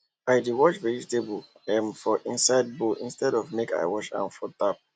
i dey wash vegetables um for inside bowl instead of make i wash am for tap